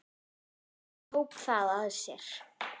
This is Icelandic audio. Jón tók það að sér.